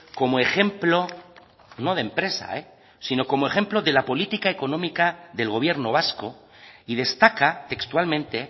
como ejemplo no de empresa sino como ejemplo de la política económica del gobierno vasco y destaca textualmente